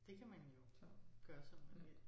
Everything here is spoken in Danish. Det kan man jo gøre som man vil